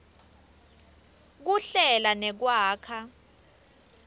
kuhlela nekwakha